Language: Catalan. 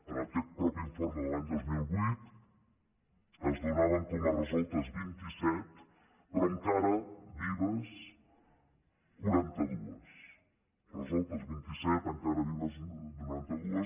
en aquest mateix informe de l’any dos mil vuit se’n donaven com a resoltes vint i set però encara vives quaranta dues resoltes vint i set encara vives quaranta dues